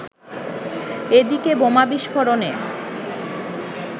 এদিকে বোমা বিস্ফোরণে